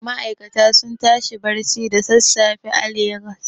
Ma'aikata suna tashi barci da sassafe a Legas.